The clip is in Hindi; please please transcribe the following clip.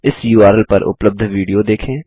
इस उर्ल पर उपलब्ध विडियो देखें